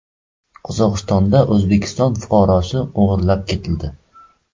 Qozog‘istonda O‘zbekiston fuqarosi o‘g‘irlab ketildi .